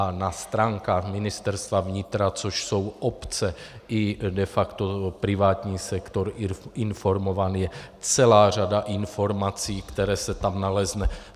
A na stránkách Ministerstva vnitra, což jsou obce i de facto privátní sektor informován, je celá řada informací, které se tam naleznou.